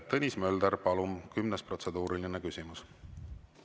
Tõnis Mölder, palun, kümnes protseduuriline küsimus!